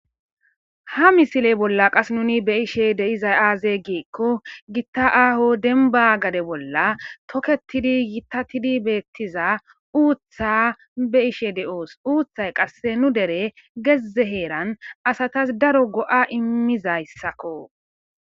ha misiley bolla qas nuni be ishe deizay aaze giikko gitta aaho demba gade bolla toketidi yitatidi beettiza uutha be ishe de7oos uuththay qasse nu dere gezze heeran asatas daro go7a immizayssakko